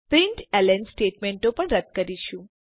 println સ્ટેટમેંટો પણ રદ્દ કરીશું